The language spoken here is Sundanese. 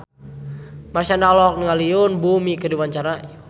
Marshanda olohok ningali Yoon Bomi keur diwawancara